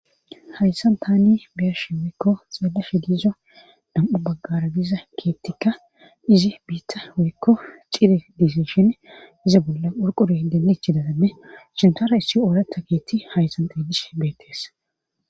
Hayssan taani beyeshe weykko xeelashe diizo dam7u baggara giza keettikka izi biitta weykko cire disishin iza bolla hurqure deenechidadamme shintara issi oolata keetti hayssan teedish beettees.